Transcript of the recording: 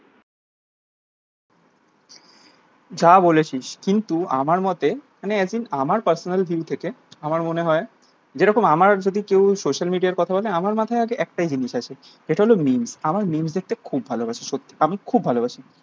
যা বলেছিস কিন্তু আমার মতে মানে as in আমার personal view থেকে আমার মনে হয় যেরকম আমার যদি কেউ social media র কথা বলে আমার মাথায় আগে একটাই জিনিস আসে সেটা হলো memes আমার memes দেখতেখুবই ভালো বাসি সত্যি আমি খুব ভালোবাসি